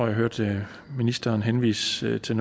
jeg hørte ministeren henvise til